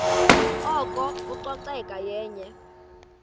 oko ucoceko yenye